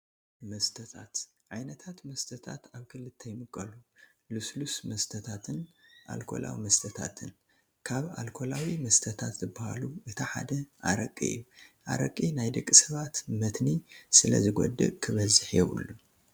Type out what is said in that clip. መስተታት፡- ዓይነታት መስተታት ኣብ ክልተ ይምቀሉ፡፡ ልስሉሳት መስተታትን ኣልኮላዊ መስተታትን፡፡ ካብ ኣልኮላዊ መስተታት ዝባሃሉ እቲ ሓደ ኣረቂ እዩ፡፡ ኣረቂ ናይ ደቂ ሰባት መትኒ ስለዝጎድእ ክበዝሕ የብሉን፡፡